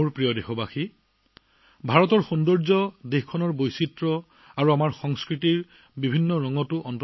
মোৰ প্ৰিয় দেশবাসী ভাৰতৰ সৌন্দৰ্য্য নিহিত হৈ আছে ইয়াৰ বৈচিত্ৰ্য আৰু আমাৰ সংস্কৃতিৰ ৰঙত